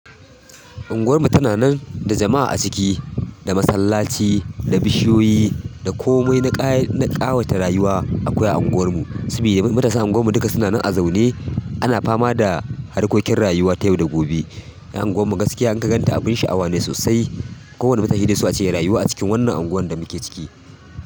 Unguwar mu tana nan da jama'a a ciki, da masallaci, da bishiyoyi, da komai na ƙawata rayuwa akwai a unguwar mu. Saboda matasan unguwar mu duka suna nan a zaune, ana fama da harkokin rayuwa ta yau da gobe. Unguwar mu gaskiya in ka ganta abin sha'awa ne sosai. Ko wanne mata shi zai so ace ya rayu a cikin wannan unguwar da muke ciki.